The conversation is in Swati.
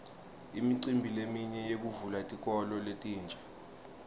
imicimbi leminye yekuvula tikolo letinsha